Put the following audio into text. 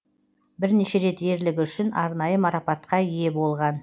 бірнеше рет ерлігі үшін арнайы марапатқа ие болған